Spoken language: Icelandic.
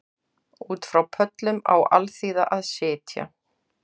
Út frá pöllum á alþýða að sitja